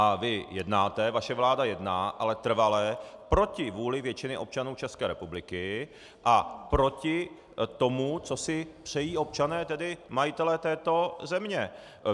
A vy jednáte, vaše vláda jedná, ale trvale proti vůli většiny občanů České republiky a proti tomu, co si přejí občané, tedy majitelé této země.